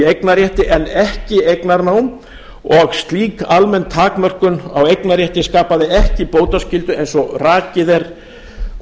eignarrétti en ekki eignarnám og slík almenn takmörkun á eignarrétti skapaði ekki bótaskyldu eins og rakið er